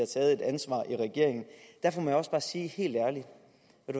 taget et ansvar i regeringen derfor må jeg også bare sige helt ærligt